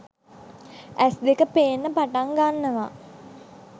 ඇස් දෙක පේන්න පටන් ගන්නවා